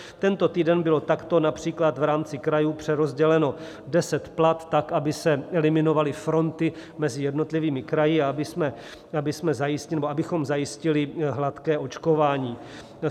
Tento týden bylo takto například v rámci krajů přerozděleno 10 plat tak, aby se eliminovaly fronty mezi jednotlivými kraji a abychom zajistili hladké očkování.